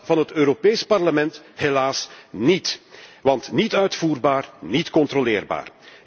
Dat van het Europees Parlement helaas niet, want het is niet uitvoerbaar, niet controleerbaar.